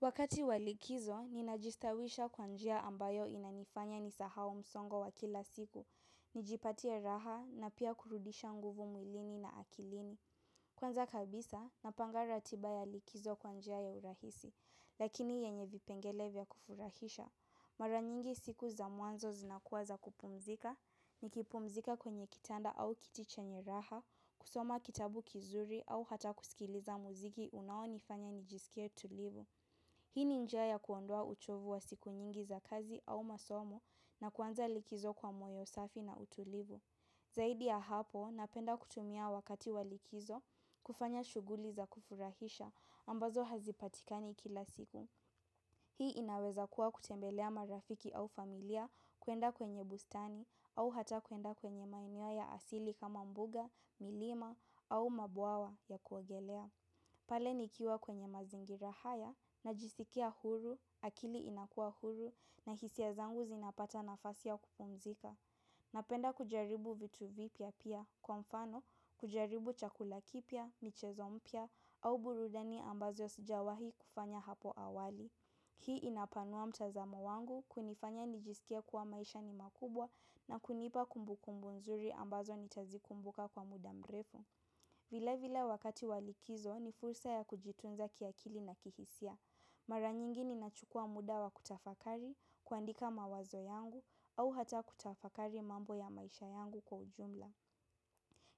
Wakati wa likizo, ninajistawisha kwa njia ambayo inanifanya nisahau msongo wa kila siku. Nijipatia raha na pia kurudisha nguvu mwilini na akilini. Kwanza kabisa, napanga ratiba ya likizo kwa njia ya urahisi. Lakini yenye vipengele vya kufurahisha. Mara nyingi siku za mwanzo zinakuwa za kupumzika. Nikipumzika kwenye kitanda au kiti chenye raha, kusoma kitabu kizuri au hata kusikiliza muziki unaonifanya nijisikie tulivu. Hii ni njia ya kuondoa uchovu wa siku nyingi za kazi au masomo na kuanza likizo kwa moyo safi na utulivu. Zaidi ya hapo, napenda kutumia wakati wa likizo kufanya shughuli za kufurahisha ambazo hazipatikani kila siku. Hii inaweza kuwa kutembelea marafiki au familia kuenda kwenye bustani au hata kuenda kwenye maeneo ya asili kama mbuga, milima au mabuawa ya kuogelea. Pale nikiwa kwenye mazingira haya najisikia huru, akili inakua huru na hisia zangu zinapata nafasi ya kupumzika. Napenda kujaribu vitu vipya pia, kwa mfano kujaribu chakula kipya, michezo mpya au burudani ambazo sijawahi kufanya hapo awali. Hii inapanua mtazamo wangu, kunifanya nijisikie kuwa maisha ni makubwa na kunipa kumbukumbu nzuri ambazo nitazikumbuka kwa muda mrefu. Vile vile wakati wa likizo ni fursa ya kujitunza kiakili na kihisia. Mara nyingi ninachukua muda wa kutafakari, kuandika mawazo yangu, au hata kutafakari mambo ya maisha yangu kwa ujumla.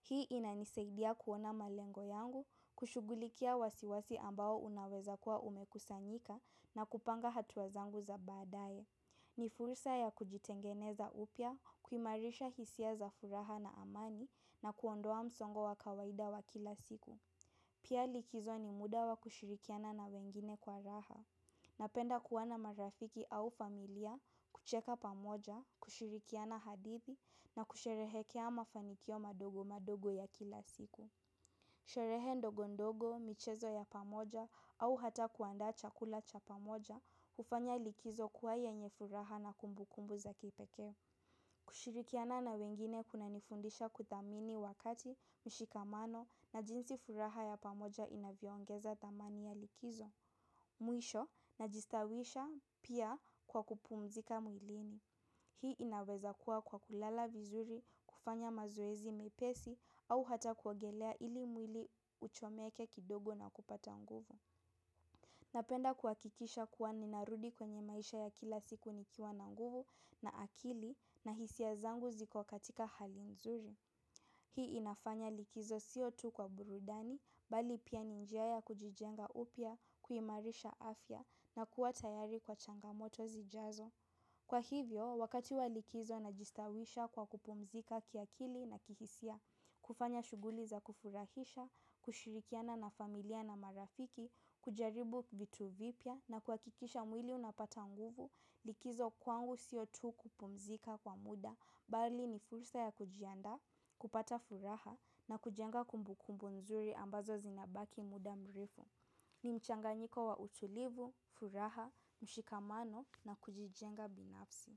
Hii inanisaidia kuona malengo yangu, kushughulikia wasiwasi ambao unaweza kuwa umekusanyika na kupanga hatua zangu za baadae. Ni fursa ya kujitengeneza upya, kumarisha hisia za furaha na amani na kuondoa msongo wa kawaida wa kila siku. Pia likizo ni muda wa kushirikiana na wengine kwa raha. Napenda kuwa na marafiki au familia, kucheka pamoja, kushirikiana hadithi na kusherehekea mafanikio madogo madogo ya kila siku. Sherehe ndogo ndogo, michezo ya pamoja au hata kuandaa chakula cha pamoja, hufanya likizo kuwa yenye furaha na kumbukumbu za kipekee. Kushirikiana na wengine kunanifundisha kuthamini wakati, mshikamano na jinsi furaha ya pamoja inavyoongeza dhamani ya likizo. Meisho najistawisha pia kwa kupumzika mwilini. Hii inaweza kuwa kwa kulala vizuri, kufanya mazoezi mepesi au hata kuogelea ili mwili uchomeke kidogo na kupata nguvu. Napenda kuhakikisha kuwa ninarudi kwenye maisha ya kila siku nikiwa na nguvu na akili na hisia zangu ziko katika hali nzuri. Hii inafanya likizo sio tu kwa burudani, bali pia ni njia ya kujijenga upya, kuimarisha afya na kuwa tayari kwa changamoto zijazo. Kwa hivyo, wakati wa likizo najistawisha kwa kupumzika kiakili na kihisia, kufanya shughuli za kufurahisha, kushirikiana na familia na marafiki, kujaribu vitu vipya na kuhakikisha mwili unapata nguvu, likizo kwangu sio tu kupumzika kwa muda. Bali ni fursa ya kujiandaa, kupata furaha na kujenga kumbukumbu nzuri ambazo zinabaki muda mrefu. Ni mchanganyiko wa utulivu, furaha, mshikamano na kujijenga binafsi.